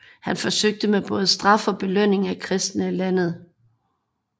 Han forsøgte med både straf og belønning at kristne landet